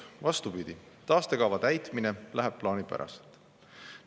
Vastupidi, taastekava täitmine läheb plaanipäraselt.